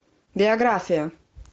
биография